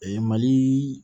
mali